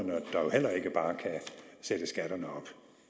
heller ikke bare kan sætte skatterne op